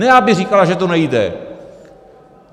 Ne aby říkala, že to nejde!